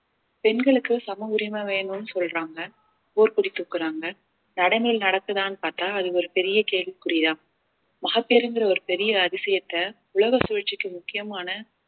பெண்களுக்கு சம உரிமை வேணும்னு சொல்றாங்க போர்க்கொடி தூக்குறாங்க நடக்குதான்னு பார்த்தால் அது ஒரு பெரிய கேள்விக்குறிதான் மகப்பேறுங்கிற ஒரு பெரிய அதிசயத்தை உலக சுழற்சிக்கு முக்கியமான